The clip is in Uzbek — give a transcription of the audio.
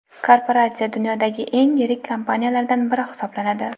Korporatsiya dunyodagi eng yirik kompaniyalardan biri hisoblanadi.